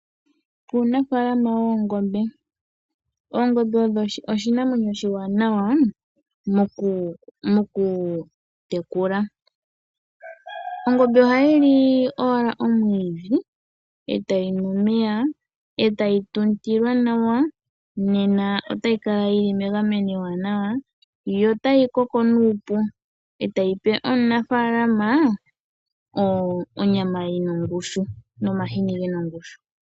Uunafaalama woongombe. oongombe odho oshinamwenyo oshiwanawa mokutekula . Ongombe ohayili owala omwiidhi eta yinu omeya ,etayi tuntilwa nawa nena otayi kala yili megameno ewanawa yo otayi koko nuupu etayi pe omunafaalama onyama nomahini gena ongushu.